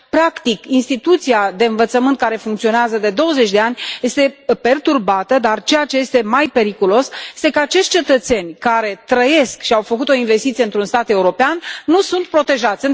Practic, instituția de învățământ, care funcționează de douăzeci de ani, este perturbată, dar ceea ce este mai periculos este că acești cetățeni, care trăiesc și au făcut o investiție într un stat european, nu sunt protejați.